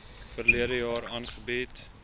verlede jaar aangebied